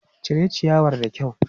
Cire ciyawar da kyau!